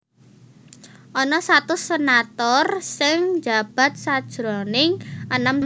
Ana satus senator sing njabat sajroning enem taun